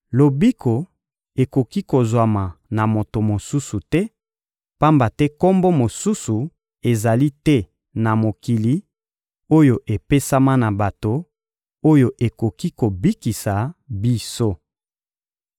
Lobiko ekoki kozwama na moto mosusu te, pamba te kombo mosusu ezali te na mokili, oyo epesama na bato, oyo ekoki kobikisa biso.